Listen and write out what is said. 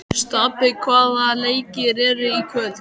Stapi, hvaða leikir eru í kvöld?